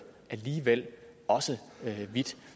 alligevel også hvidt